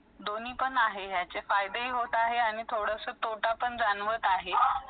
दोनी पण आहे याचे फायदे पण होत आहे आणि थोडेसे तोटापण जाणवून घेत आहेत